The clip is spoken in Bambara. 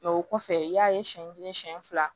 Mɛ o kɔfɛ i y'a ye siɲɛ kelen siɲɛ fila